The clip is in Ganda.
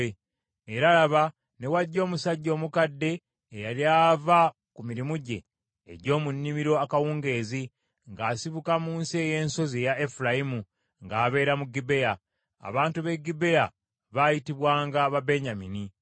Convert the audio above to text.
Era laba, ne wajja omusajja omukadde eyali ava ku mirimu gye egy’omu nnimiro akawungeezi, ng’asibuka mu nsi ey’ensozi eya Efulayimu, ng’abeera mu Gibea. Abantu b’e Gibea baayitibwanga Babenyamini.